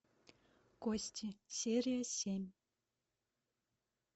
кости серия семь